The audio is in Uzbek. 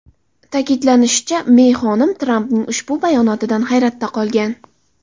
Ta’kidlanishicha, Mey xonim Trampning ushbu bayonotidan hayratda qolgan.